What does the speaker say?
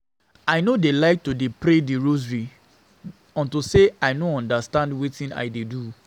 I no dey like to pray the rosary unto say I no dey understand wetin I dey do